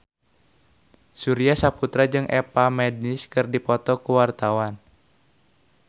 Surya Saputra jeung Eva Mendes keur dipoto ku wartawan